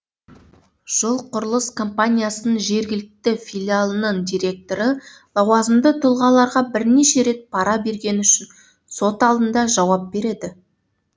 жол құрылыс компаниясының жергілікті филиалының директоры лауазымды тұлғаларға бірнеше рет пара бергені үшін сот алдында жауап береді